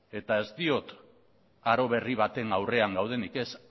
eta ez diot aro berri baten aurrean gaudenik ez